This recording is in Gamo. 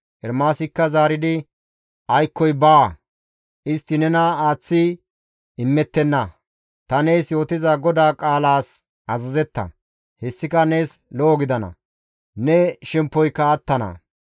Ermaasikka zaaridi, «Aykkoy baawa! Istti nena aaththi imettenna; ta nees yootiza GODAA qaalas azazetta; hessika nees lo7o gidana; ne shemppoyka attana.